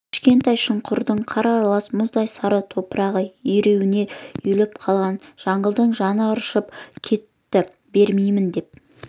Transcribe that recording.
кішкентай шұңқырдың қар аралас мұздай сары топырағы ернеуіне үйіліп қалған жаңылдың жаны ыршып кетті бермеймін деп